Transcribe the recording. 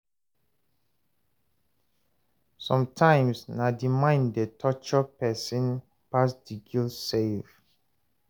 Somtimes na di mind dey torture pesin pass di guilt sef